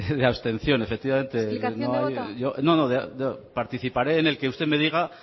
de abstención efectivamente explicación de voto no no participaré en el que usted me diga